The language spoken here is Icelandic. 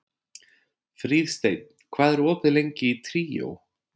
Fríðsteinn, hvað er opið lengi í Tríó?